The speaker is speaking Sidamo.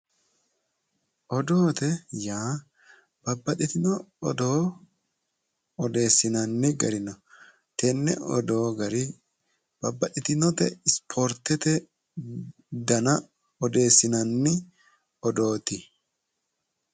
Odoote yaa babbaxitino odoo odeessinanni gari no tene odoo gari babbaxitinote isportete danna odeessinanni odooti.